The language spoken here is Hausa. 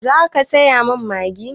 Za ki saya min Maggi?